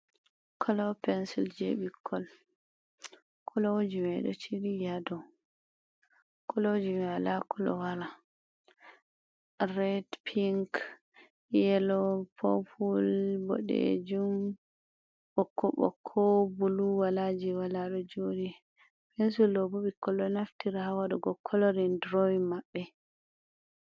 Kolo pensil je ɓikkon kolijimai ɗo jilli hadow, koloji mai wala kowala ɗon ret, pink, yelo, popul, boɗejum, ɓokko ɓokko, bulu walaji wala, ɗo joɗi pensul ɗobo ɓikkon ɗo naftira hawaɗugo kolorin durowin maɓɓe.